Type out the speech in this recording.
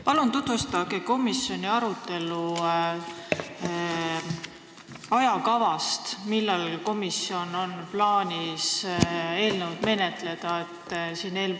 Palun tutvustage komisjoni arutelu ajakava: millal komisjonil on plaanis seda eelnõu menetleda?